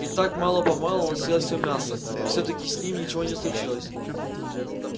и так мало помалу он съел всё мясо и всё-таки с ним ничего не случилось